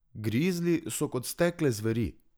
Grizli so kot stekle zveri.